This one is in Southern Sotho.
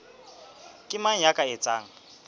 ke mang ya ka etsang